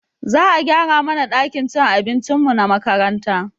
Za a gyara mana ɗakin cin abincinmu na makaranta